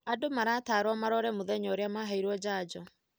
Andũ maratarwo marore mũthenya maheirwo janjo.